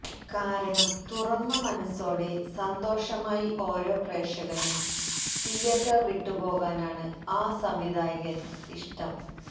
കാരണം തുറന്ന മനസോടെ സന്തോഷമായി ഓരോ പ്രേക്ഷകനും തിയേറ്റര് വിട്ടുപോകാനാണ് ആ സംവിധായകന് ഇഷ്ടം